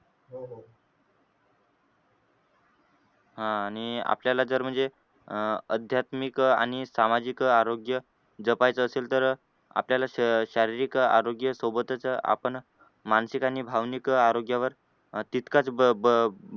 आह आणि आपल्याला जर म्हणजे अं अध्यात्मिक आणि सामाजिक आरोग्य जपायचं असेल तर आपल्याला शा शारीरिक आरोग्या सोबतच आपण मानसिक आणि भावनिक आरोग्यावर तितकाच भर